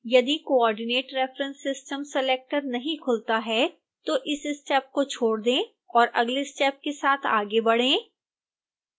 यदि coordinate reference system selector नहीं खुलता है तो इस स्टेप को छोड़ दें और अगले स्टेप के साथ आगे बढ़ें